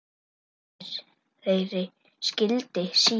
Leiðir þeirra skildi síðar.